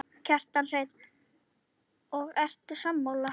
Kjartan Hreinn: Og ertu sammála?